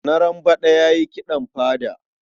Narambaɗa ya yi kiɗan fada.